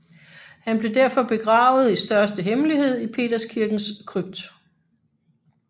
Han blev derfor begravet i største hemmelighed i Peterskirkens krypt